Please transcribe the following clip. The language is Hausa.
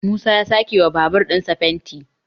musa ya a sake wa babur ɗinsa fenti